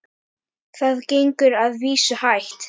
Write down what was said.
Það gengur að vísu hægt.